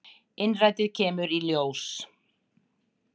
Innrætið kemur í ljós.